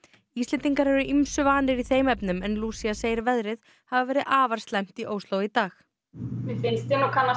Íslendingar eru ýmsu vanir í þeim efnum en Lúcía segir veðrið hafa verið afar slæmt í Ósló í dag mér finnst ég alveg kannast